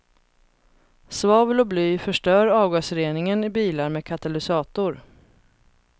Svavel och bly förstör avgasreningen i bilar med katalysator.